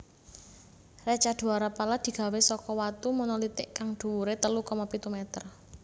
Reca Dwarapala digawé saka watu monolitik kang dhuwuré telu koma pitu meter